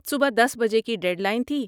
صبح دس بجے کی ڈیڈ لائن تھی